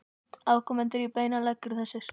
Afkomendur í beinan legg eru þessir